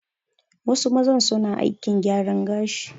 Wasu mazan su na aikin gyaran gashi